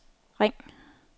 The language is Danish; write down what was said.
ring